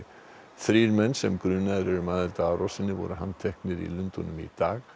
þrír menn sem grunaðir eru um aðild að árásinni voru handteknir í Lundúnum í dag